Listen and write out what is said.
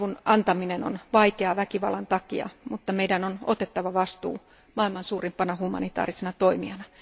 Avun antaminen on vaikeaa väkivallan takia, mutta meidän on otettava vastuu maailman suurimpana humanitaarisena toimijana.